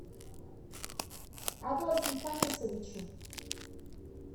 адольфом фанисовичем